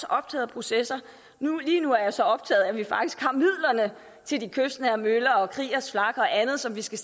optaget af processer lige nu er jeg så optaget af at vi faktisk har midlerne til de kystnære møller og kriegers flak og andet som vi skal